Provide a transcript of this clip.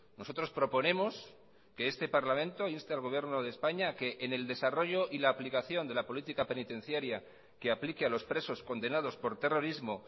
nosotros proponemos que este parlamento inste al gobierno de españa a que en el desarrollo y la aplicación de la política penitenciaria que aplique a los presos condenados por terrorismo